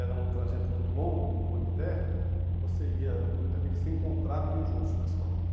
Era um trajeto muito longo, em rua de terra, e você ia num grupo de amigos, se encontrava e iam juntos para a escola, né?